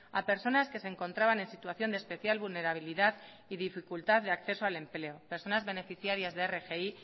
a personas que se encontraban en situación de especial vulnerabilidad y dificultad de acceso al empleo personas beneficiarias de rgi